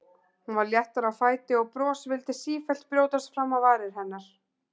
Hún var léttari á fæti og bros vildi sífellt brjótast fram á varir hennar.